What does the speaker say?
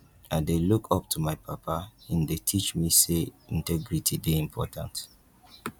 i dey look up to my papa im dey teach me sey integrity dey important